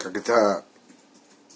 когда